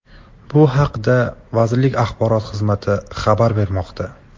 Bu haqda vazirlik Axborot xizmati xabar bermoqda .